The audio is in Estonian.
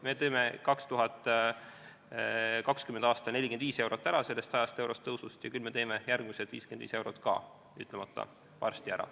Me teeme 2020. aastal sellest 100-eurosest tõusust 45 eurot ära ja küll me teeme järgmised 55 eurot ka varsti ära.